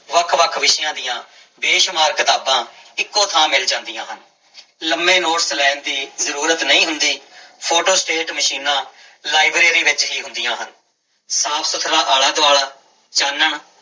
ਵੱਖ ਵੱਖ ਵਿਸ਼ਿਆਂ ਦੀ ਬੇਸ਼ੁਮਾਰ ਕਿਤਾਬਾਂ ਇੱਕੋ ਥਾਂ ਮਿਲ ਜਾਂਦੀਆਂ ਹਨ, ਲੰਮੇ ਨੋਟਸ ਲੈਣ ਦੀ ਜ਼ਰੂਰਤ ਨਹੀਂ ਹੁੰਦੀ, ਫੋਟੋਸਟੇਟ ਮਸ਼ੀਨਾਂ ਲਾਇਬ੍ਰੇਰੀ ਵਿੱਚ ਹੀ ਹੁੰਦੀਆਂ ਹਨ, ਸਾਫ਼ ਸੁੱਥਰਾ ਆਲਾ ਦੁਆਲਾ ਚਾਨਣ